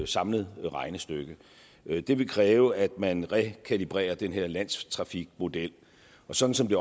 samlet regnestykke det ville kræve at man rekalibrerer den her landstrafikmodel og sådan som det